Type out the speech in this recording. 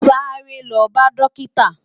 Sàré lò bá dòkitá